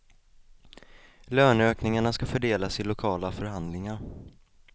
Löneökningarna skall fördelas i lokala förhandlingar.